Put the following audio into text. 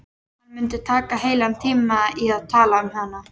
Hann mundi taka heilan tíma í að tala um hana.